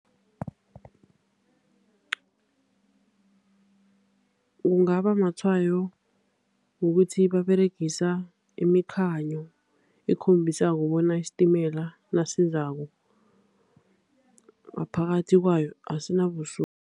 Kungaba matshwayo wokuthi baberegisa imikhanyo ekhombisako bona isitimela nasizako ngaphakathi kwayo